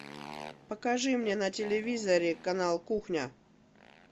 покажи мне на телевизоре канал кухня